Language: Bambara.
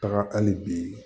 Taga hali bi